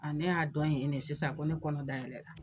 Aa ne y'a dɔn yen de sisan ko ne kɔnɔ dayɛlɛ la.